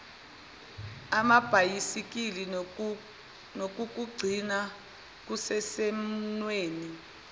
amabhayisikili nokukugcina kusesimweni